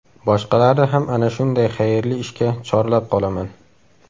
Boshqalarni ham ana shunday xayrli ishga chorlab qolaman”.